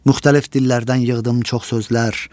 Müxtəlif dillərdən yığdım çox sözlər.